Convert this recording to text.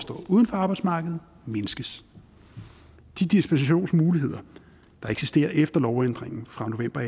arbejdsmarkedet mindskes de dispensationsmuligheder der eksisterer efter lovændringen fra november